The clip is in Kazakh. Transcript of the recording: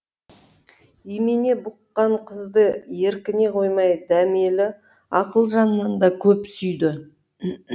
имене бұққан қызды еркіне қоймай дәмелі ақылжаннан да көп сүйді